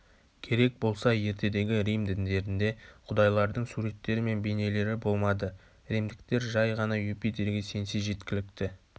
керек болса ертедегі рим діндерінде құдайлардың суреттері мен бейнелері болмады римдіктер жай ғана юпитерге сенсе жеткілікті